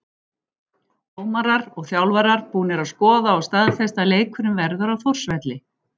Dómarar og þjálfarar búnir að skoða og staðfesta að leikurinn verður á Þórsvelli.